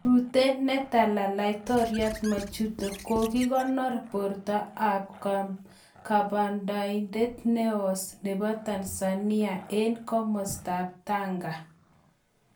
Rute netala Laitoriat Majuto. kaginor borto ap kababaindet neos nepo Tanzania engkomastaap Tanga.